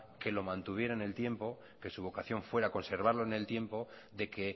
que lo mantuviera en el tiempo que su vocación fuera conservarlo en el tiempo de que